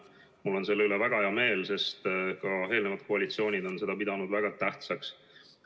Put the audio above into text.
Mul on selle üle väga hea meel, sest ka eelnevad koalitsioonid on seda pidanud väga tähtsaks.